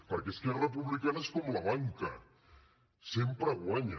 perquè esquerra republicana és com la banca sempre guanya